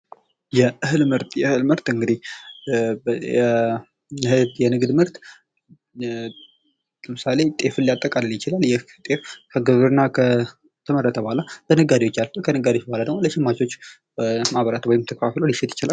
የእህል ምርት የእህል ምርት እንግዲ ጤፍን ሊያጠቃልላል ይችላል ይህ ጤፍ ከግብርና ከተመረተ በኋላ ነጋዴዎች አልፎ ከነጋዴዎች በኋላ ደግሞ ለሸማቾች ወይንም ለማህበራት ተከፋፍል ሊሸጥ ይችላል።